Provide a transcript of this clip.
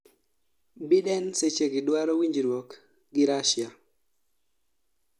Biden sechegi dwaro winjruok gi Russia